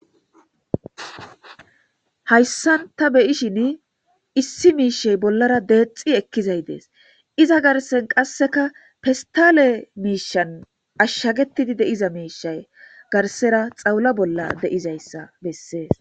Hayisan ta be'ashe dizayis issi mishe bollara dexi ekizays de'es iza garisan qaseka pestale mishayn ashagetidi deiza mishay garisara besera xawula bolla deizaysa beses